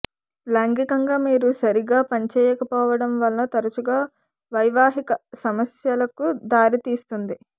లైంగికంగా మీరు సరిగా పనిచేయకపోవడం వల్ల తరచుగా వైవాహిక సమస్యలకు దారితీస్తుంది